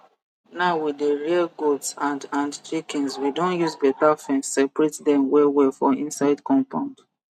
now we dey rear goats and and chickens we don use better fence separate dem wellwell for inside compound